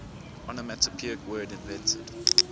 onomatopoeic word invented